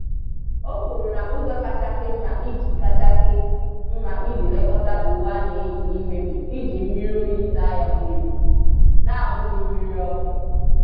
O kwuru na ụzọ kachasị mma iji kachasị mma iji lekọta uwe a na-eyi n'ime bụ iji mmiri oyi saa ya mmiri, n'abughị mmiri ọkụ.